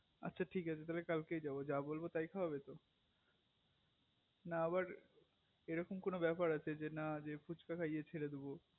আচ্ছা ঠিক আছে তাহলে কালকেই চলো যা বলবো তাই খাওয়াবে তো না আবার এরকম কোনো বেপার আছে যে না ফুচকা খাইয়ে ছেড়ে দেব